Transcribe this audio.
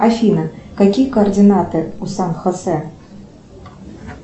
афина какие координаты у сан хосе